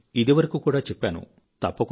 నేను ఇదివరకు కూడా చెప్పాను